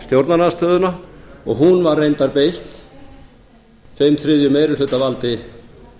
stjórnarandstöðuna og hún var reyndar beitt tveim þriðju meirihlutavaldi